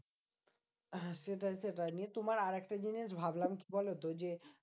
হ্যাঁ সেটাই সেটাই। নিয়ে তোমার আরেকটা জিনিস ভাবলাম কি বলতো? যে